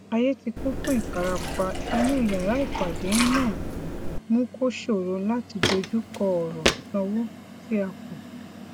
ayé tí kún fún ìfarapa inú yàrá ìpàdé náà mú kó ṣòro láti dojú kọ ọrọ ìsanwó tí a kù